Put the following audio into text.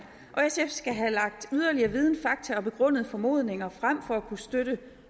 skal have lagt yderligere viden fakta og begrundede formodninger frem for at kunne støtte